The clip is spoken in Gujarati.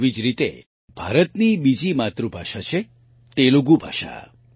તેવી જ રીતે ભારતની બીજી માતૃભાષા છે તેલુગુ ભાષા